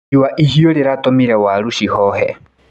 Riũa ihiũ rĩratũmire waru cihohe.